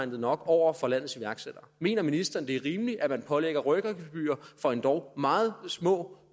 nok over for landets iværksættere mener ministeren det er rimeligt at man pålægger opstartsvirksomheder rykkergebyrer for endog meget små